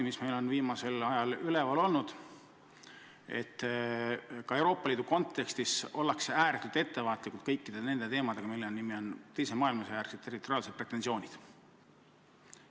Meil on viimasel ajal üleval olnud ka see, et Euroopa Liidus ollakse ääretult ettevaatlikud kõikide teemadega, mis võiks kokku võrra peakirjaga "Teise maailmasõja territoriaalsed pretensioonid".